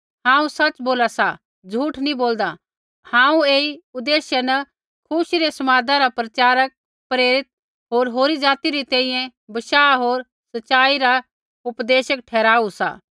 हांऊँ सच़ बोला सा झ़ूठ नी बोलदा हांऊँ ऐई उदेश्य न खुशी रै समादा रा प्रचारक प्रेरित होर होरी ज़ाति री तैंईंयैं बशाह होर सच़ाई रा उपदेशक ठहराऊआ सा